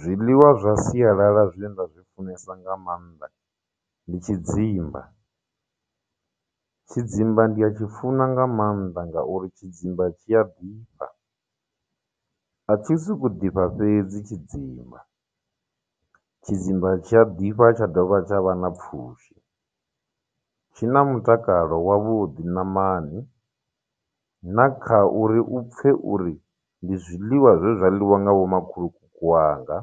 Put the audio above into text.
Zwiḽiwa zwa sialala zwine nda zwi funesa nga maanḓa ndi tshidzimba tshidzimba ndi atshi funa nga maanḓa ngauri tshidzimba tshi a ḓifha a tshi sokou ḓifha fhedzi tshidzimba tshidzimba tshi a ḓifha tsha dovha tsha vha na pfhushi tshi na mutakalo wavhuḓi ṋamani na kha uri u pfhe uri ndi zwiḽiwa zwe zwa ḽiwa nga vho makhulukuku wanga